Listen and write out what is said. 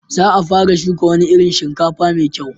Za a fara shuka wani irin shinkafa mai kyau.